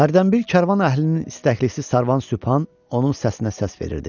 Hərdənbir karvan əhlinin istəklisi Sarvan Sübhan onun səsinə səs verirdi.